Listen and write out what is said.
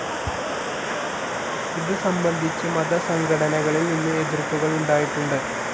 ഇതുസംബന്ധിച്ച് മതസംഘടനകളിൽ നിന്ന് എതിർപ്പുകളുണ്ടായിട്ടുണ്ട്.